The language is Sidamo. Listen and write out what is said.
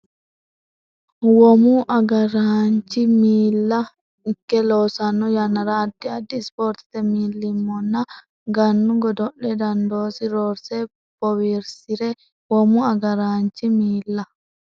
Womu agr- araanchi miila ikke loosanno yannara addi addi Ispoortete millimmonna Gannu godo’le dandoosi roorse bowirsi’ri Womu agr- araanchi miila.